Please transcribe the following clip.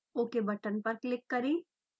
ok button पर click करें